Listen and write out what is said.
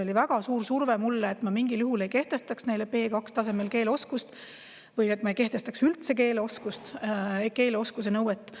Oli väga suur surve mulle, et ma mingil juhul ei kehtestaks neile B2-tasemel keeleoskuse või et ma ei kehtestaks üldse keeleoskuse nõuet.